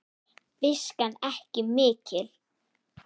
Viskan ekki mikil!